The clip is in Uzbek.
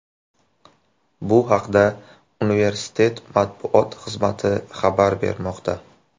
Bu haqda universitet matbuot xizmati xabar bermoqda .